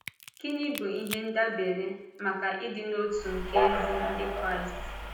Gịnị bụ ihe ndàbèrè maka ịdị n’otu nke ezi Ndị Kraịst?